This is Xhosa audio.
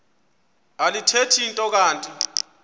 alithethi nto kanti